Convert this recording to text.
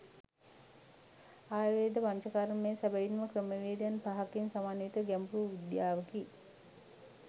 ආයුර්වේද පංචකර්මය සැබවින්ම ක්‍රමවේදයන් පහකින් සමන්විත ගැඹුරු විද්‍යාවකි.